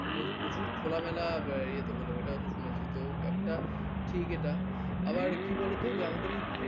প্রচুর খোলামেলা ইয়ে তো হলো একটা ঠিক এটা আবার কি বলতো যে আমাদের এই